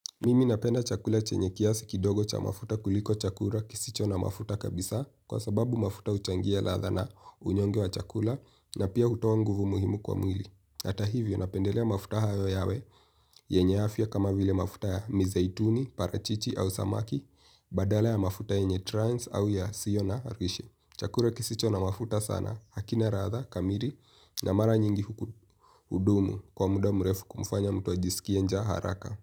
Mimi napenda chakula chenye kiasi kidogo cha mafuta kuliko chakula kisicho na mafuta kabisa kwa sababu mafuta uchangia latha na unyongi wa chakula na pia hutoa nguvu muhimu kwa mwili. Hata hivyo napendelea mafuta hayo yawe yenye afya kama vile mafuta ya mizeituni, parachichi au samaki badala ya mafuta yenye trans au yasio na haruishe. Chakula kisicho na mafuta sana hakina latha kamili na mara nyingi hudumu kwa muda mrefu kumfanya mtu ajisikie njaa haraka.